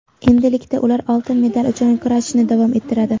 Endilikda ular oltin medal uchun kurashni davom ettiradi.